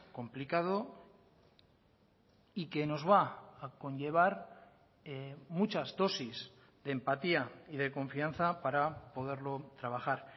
complicado y que nos va a conllevar muchas dosis de empatía y de confianza para poderlo trabajar